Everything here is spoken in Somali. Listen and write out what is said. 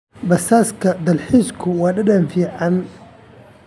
Basaska dalxiisku waa dhadhan fiican.